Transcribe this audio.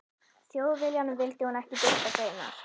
Þjóðviljanum vildi hún ekki birta greinar.